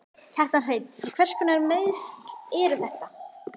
Kjartan Hreinn: Hverskonar meiðsl eru þetta?